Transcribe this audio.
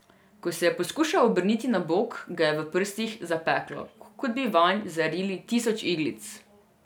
Ko se je poskušal obrniti na bok, ga je v prsih zapeklo, kot bi vanj zarili tisoč iglic.